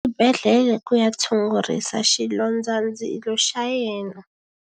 U yile exibedhlele ku ya tshungurisa xilondzandzilo xa yena.